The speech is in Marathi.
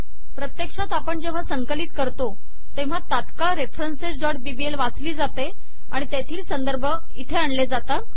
प्रतेक्षात आपण जेव्हा संकलित करतो तेव्हा तात्काळ referencesबीबीएल वाचली जाते आणि तेथील संदर्भ इथे आणले जातात